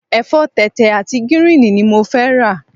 Ẹ̀fọ́ tẹ̀tẹ̀ àti gíríìnì ni mo fẹ́ rà.